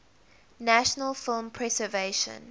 national film preservation